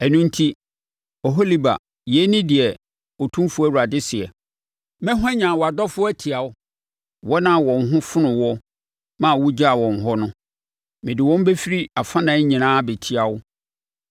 “Ɛno enti, Oholiba, yei ne deɛ Otumfoɔ Awurade seɛ: Mɛhwanyan wʼadɔfoɔ atia wo, wɔn a wɔn ho fonoo woɔ ma wogyaa wɔn hɔ no; mede wɔn bɛfiri afanan nyinaa abɛtia wo.